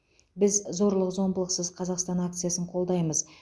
біз зорлық зомбылықсыз қазақстан акциясын қолдаймыз